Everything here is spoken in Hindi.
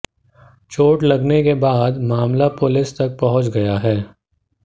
चोट लगने के बाद मामला पुलिस तक पहुंच गया है